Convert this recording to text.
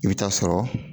I bɛ taa sɔrɔ